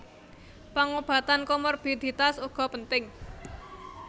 Pangobatan komorbiditas uga penting